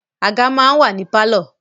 Àga máa ń wà ní pálọ̀